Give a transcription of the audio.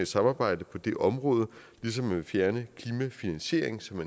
samarbejde på det område ligesom man vil fjerne klimafinansieringen som